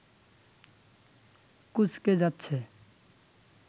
কুঁচকে যাচ্ছে